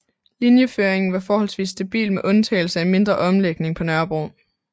Linjeføringen var forholdsvis stabil med undtagelse af en mindre omlægning på Nørrebro